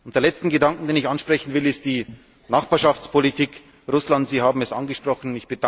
Der letzte Gedanke, den ich ansprechen will, ist die Nachbarschaftspolitik, Russland Sie haben es angesprochen.